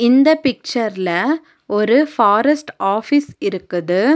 இந்த பிச்சர்ல ஒரு பாரஸ்ட் ஆபீஸ் இருக்குது.